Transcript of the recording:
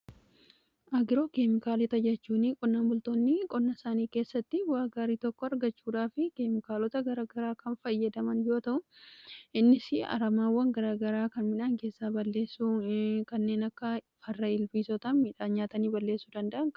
Agiroo keemikaalota jechuun qonnan bultoonni qonna isaanii keessatti waan gaarii tokko argachuudhaafi keemikaalota garagaraa kan fayyadaman yoo ta'u innis aramaawwan garagaraa kan midhaan keessa balleessuu kanneen akka farra ilbiisotaa miidhaan nyaatanii balleessuu danda'anii.